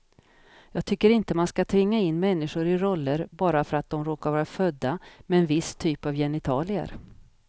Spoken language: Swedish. Jag tycker inte att man ska tvinga in människor i roller bara för att de råkar vara födda med en viss typ av genitalier.